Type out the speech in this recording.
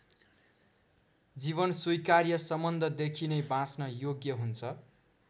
जीवन स्वीकार्य सम्बन्धदेखि नै बाँच्न योग्य हुन्छ।